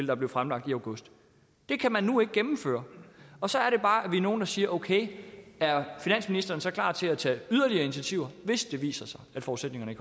der blev fremlagt i august det kan man nu ikke gennemføre og så er det bare vi er nogle der siger okay er finansministeren så klar til at tage yderligere initiativer hvis det viser sig at forudsætningerne